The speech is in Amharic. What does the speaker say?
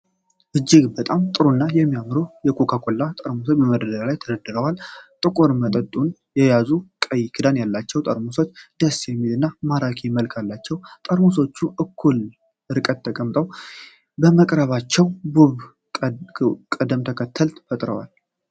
እጅግ በጣም ጥሩ እና የሚያምሩ የኮካ ኮላ ጠርሙሶች በመደርደሪያዎች ላይ ተደርድረዋል። ጥቁር መጠጡን የያዙት ቀይ ክዳን ያላቸው ጠርሙሶች ደስ የሚል እና ማራኪ መልክ አላቸው። ጠርሙሶቹ እኩል ርቀት ተጠብቆ በመቅረባቸው ውብ ቅደም ተከተል ፈጥረዋል።